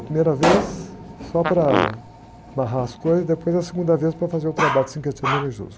A primeira vez só para amarrar as coisas, e depois a segunda vez para fazer o trabalho de sincretismo religioso